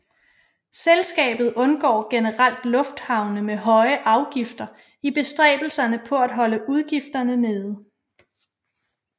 Selskabet undgår generelt lufthavne med høje afgifter i bestræbelserne på at holde udgifterne nede